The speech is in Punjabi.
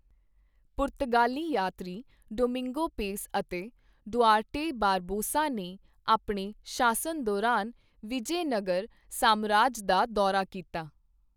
ਪੁਰਤਗਾਲੀ ਯਾਤਰੀ ਡੋਮਿੰਗੋ ਪੇਸ ਅਤੇ ਡੁਆਰਟੇ ਬਾਰਬੋਸਾ ਨੇ ਆਪਣੇ ਸ਼ਾਸਨ ਦੌਰਾਨ ਵਿਜੈਨਗਰ ਸਾਮਰਾਜ ਦਾ ਦੌਰਾ ਕੀਤਾ।